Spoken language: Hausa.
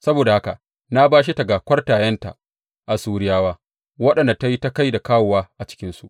Saboda haka na bashe ta ga kwartayenta, Assuriyawa, waɗanda ta yi ta kai da kawowa a cikinsu.